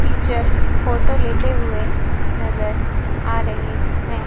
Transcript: Teacher photo लेते हुए नजर आ रहे हैं।